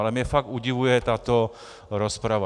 Ale mě fakt udivuje tato rozprava.